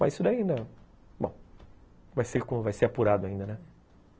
Mas isso daí não... Bom, vai ser apurado ainda, né?